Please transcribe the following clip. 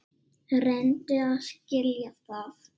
Reyndu að skilja það.